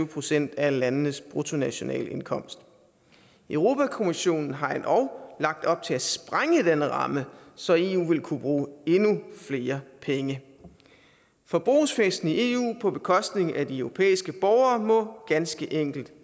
procent af landenes bruttonationalindkomst europa kommissionen har endog lagt op til at sprænge denne ramme så eu vil kunne bruge endnu flere penge forbrugsfesten i eu på bekostning af de europæiske borgere må ganske enkelt